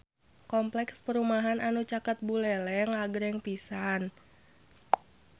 Kompleks perumahan anu caket Buleleng agreng pisan